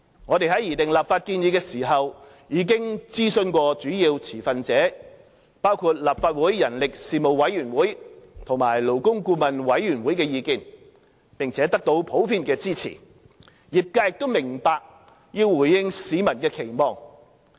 我們在擬訂立法建議時已徵詢主要持份者包括立法會人力事務委員會和勞工顧問委員會的意見，並得到普遍支持，業界亦明白要回應市民的期望。